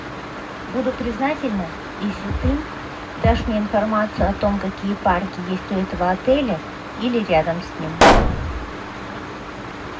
буду признательна если ты дашь мне информацию о том какие парки есть у этого отеля или рядом с ним